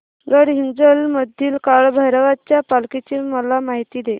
गडहिंग्लज मधील काळभैरवाच्या पालखीची मला माहिती दे